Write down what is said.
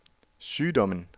sygdommen